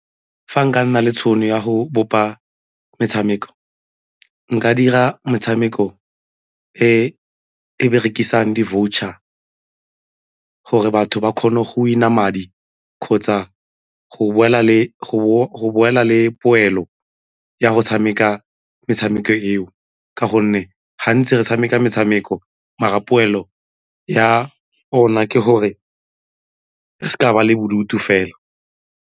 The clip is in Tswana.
Fa nka nna le tšhono ya go bopa metshameko, nka dira metshameko e e berekisang di-voucher gore batho ba kgone go win-a madi kgotsa go boela le poelo ya go tshameka metshameko eo ka gonne gantsi re tshameka metshameko mara poelo ya gona ke gore re seka ba le bodutu fela.